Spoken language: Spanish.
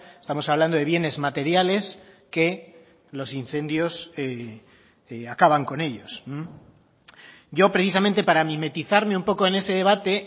estamos hablando de bienes materiales que los incendios acaban con ellos yo precisamente para mimetizarme un poco en ese debate